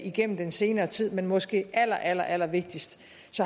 igennem den senere tid men måske aller aller allervigtigst